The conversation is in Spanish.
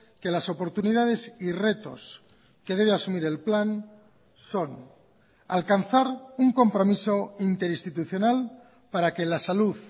que las oportunidades y retos que debe asumir el plan son alcanzar un compromiso interinstitucional para que la salud